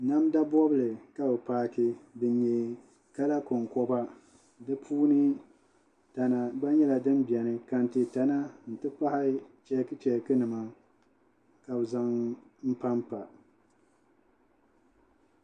Namda bobli ka bi paaki din nyɛ kala konkoba di puuni tana gba nyɛla din biɛni kɛntɛ tana n ti pahi chɛkchɛk nima ka bi zaŋ n panpa